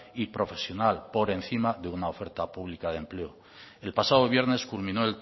y profesional por encima de una oferta pública de empleo el pasado viernes culminó